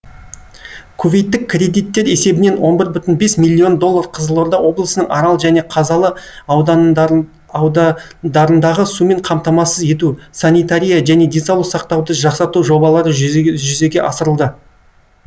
кувейттік кредиттер есебінен он бір бүтін бес миллион доллар қызылорда облысының арал және қазалы аудандарындағы сумен қамтамасыз ету санитария және денсаулық сақтауды жақсарту жобалары жүзеге асырылды